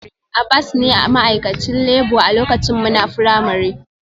Abbas ne ma'aikacin labour a lokacin muna firamare